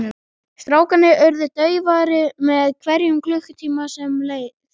Strákarnir urðu daufari með hverjum klukkutímanum sem leið.